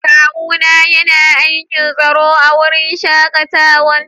Kawu na ya na aikin tsaro a'wurin shakatawan.